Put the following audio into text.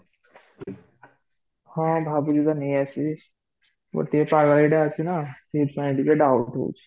ହଁ ଭାବିକି ତ ନେଇ ଆସିବି ଗୋଟେ ପାଗଳ ଏଟା ଅଛି ନା ସେଠି ପାଇଁ ଟିକେ doubt ହୋଉଛି